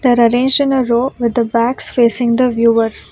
There arranged in a row with the backs facing the viewer.